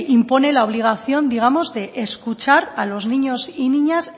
impone la obligación de escuchar los niños y niñas